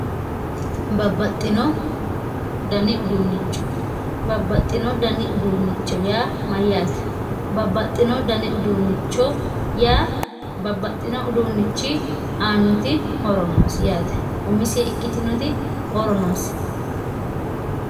Babbaxxino dani uduuncho ,babbaxxino dani uduuncho yaa mayyate babbaxxino dani uduunchi aanoti horo noosi umisi ikkitinoti horo noosi.